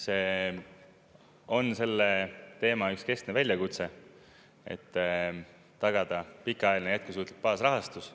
See on selle teema üks keskne väljakutse, et tagada pikaajaline jätkusuutlik baasrahastus.